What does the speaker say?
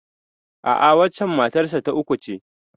A'a, waccen matar sa ta uku ce.